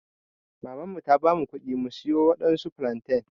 maman mu ta bamu kuɗi mu siyo waɗansu flantain.